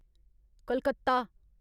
Calcutta